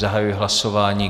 Zahajuji hlasování.